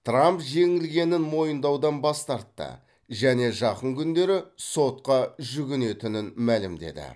трамп жеңілгенін мойындаудан бас тартты және жақын күндері сотқа жүгінетінін мәлімдеді